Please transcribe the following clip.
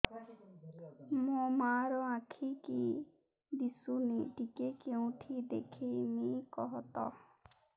ମୋ ମା ର ଆଖି କି ଦିସୁନି ଟିକେ କେଉଁଠି ଦେଖେଇମି କଖତ